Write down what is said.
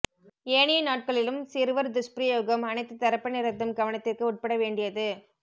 ஏனைய நாட்களிலும் சிறுவர் துஷ்பிரயோகம் அனைத்து தரப்பினரதும் கவனத்திற்கு உட்பட வேண்டியது